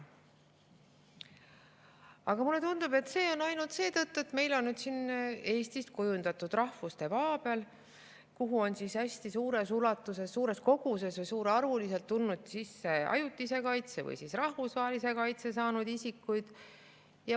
Aga mulle tundub, et see on nii ainult seetõttu, et meil on siin Eestist kujundatud rahvuste paabel, kuhu on hästi suures ulatuses, suures koguses või suurearvuliselt tulnud sisse ajutise kaitse või rahvusvahelise kaitse saanud isikuid.